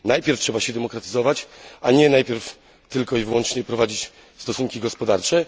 Najpierw trzeba się demokratyzować, a nie najpierw tylko i wyłącznie prowadzić stosunki gospodarcze.